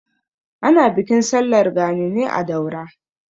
Ana bikin sallar gani ne a Daura.